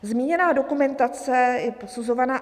Zmíněná dokumentace je posuzovaná...